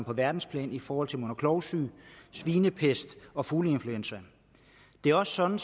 på verdensplan i forhold til mund og klovsyge svinepest og fugleinfluenza det er også sådan